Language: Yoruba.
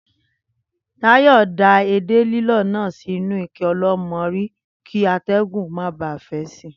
Táyò̩ da edé lílò̩ náà sínú ike o̩ló̩mo̩rí kí até̩gùn ó má ba à fé̩ si